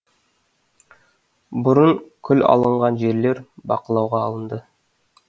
бұрын күл алынған жерлер бақылауға алынды